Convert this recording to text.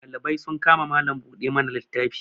dalibai sun kama Malam buɗe mana littafi